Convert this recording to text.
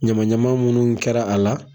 Ɲama ɲama munnu kɛra a la